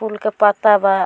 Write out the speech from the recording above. फूल के पत्ता बा।